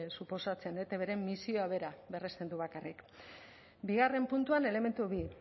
suposatzen etbren misioa bera berresten du bakarrik bigarren puntuan elementu bi